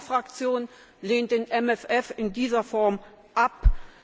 Meine Fraktion lehnt den MFR in dieser Form ab!